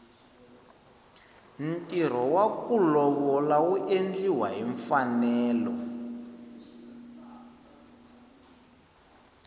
ntirho waku lovola wu endliwa hi mfanelo